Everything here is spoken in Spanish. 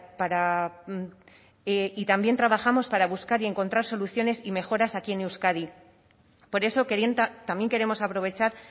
para y también trabajamos para buscar y encontrar soluciones y mejoras aquí en euskadi por eso también queremos aprovechar